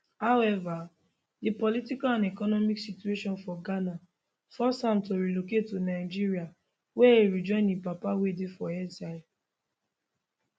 however di political and economic situation for ghana force am to relocate to nigeria wia e rejoin im papa wey dey for exile